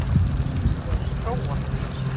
Vilt þú ekki prófa?